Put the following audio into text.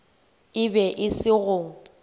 e be e se go